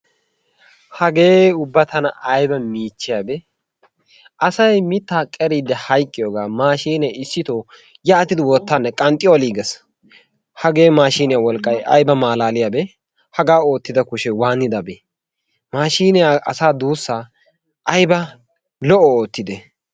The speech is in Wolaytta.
Hagee ubba tana ayiba miichchiyabee? asay mitta qeriiddi hayiqqiyoogaa maashiine issitoo yaatidi wottaanne qanxxi oliyaagges. Hagee maashiiniya wolqqay ayiba qanxxiyabee! hagaa oottida kushee waanidabee? maashiinee asaa duussa ayiba lo'o oottide!